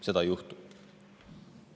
Seda ei juhtu.